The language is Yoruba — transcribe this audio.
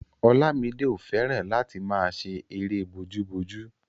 Olamide ò fẹ́ràn láti máa ṣe erée bojúbojú